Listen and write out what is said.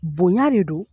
Bonya de do